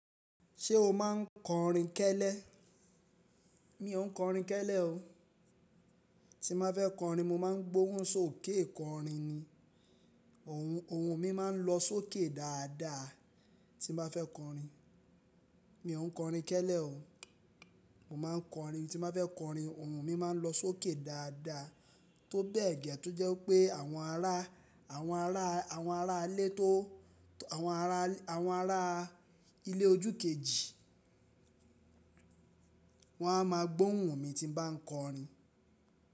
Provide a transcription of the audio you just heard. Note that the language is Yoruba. Ṣé o máa ń kọrin kẹ́lẹ́? Mi ò ń kọrin kẹ́lẹ́ o. Tí bá fẹ́ kọrin, mo máa ń gbóhùn sókè kọrin ni. Ohùn mi máa ń lọ sókè dáadáa tí mo bá fẹ́ kọrin. Mi ò ń kọrin kẹ́lẹ́ o. Mo máa ń kọrin. Tí mo bá fẹ́ kọrin, ohùn mi máa ń lọ sókè dáadáa. Tó bẹ́ẹ̀ gẹ́ tó jẹ́ pé àwọn ará, àwọn ará, àwọn ará ilé tó, àwọn ará, àwọn ará ilé ojú kejì wọ́n á máa gbóhùn mi tí bá ń kọrin.